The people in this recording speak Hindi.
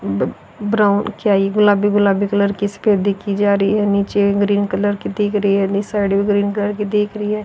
ब्राउन किया गुलाबी-गुलाबी कलर नीचे ग्रीन कलर की दिख रही है साड़ी ग्रीन कलर की दिख रही है।